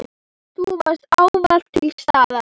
Þú varst ávallt til staðar.